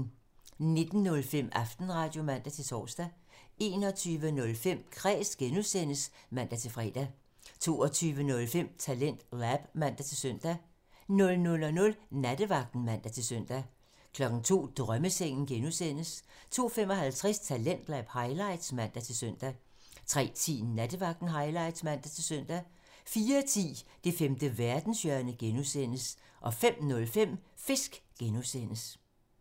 19:05: Aftenradio (man-tor) 21:05: Kræs (G) (man-fre) 22:05: TalentLab (man-søn) 00:00: Nattevagten (man-søn) 02:00: Drømmesengen (G) (man) 02:55: Talentlab highlights (man-søn) 03:10: Nattevagten highlights (man-søn) 04:10: Det femte verdenshjørne (G) (man) 05:05: Fisk (G) (man)